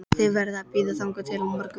Þið verðið að bíða þangað til á morgun